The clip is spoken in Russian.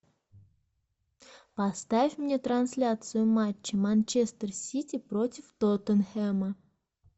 поставь мне трансляцию матча манчестер сити против тоттенхэма